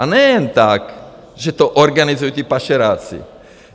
A ne jen tak, že to organizují ti pašeráci.